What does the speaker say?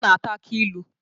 Ọ na ata aki ilu